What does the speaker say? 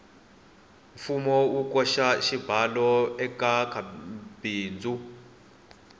mfumo wu koxa xibalo ekamabindzu